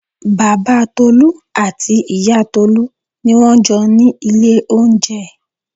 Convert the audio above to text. Bàbá Tolu àti ìyá Tolu ni wọ́n jọ ni ilé oúnjẹ.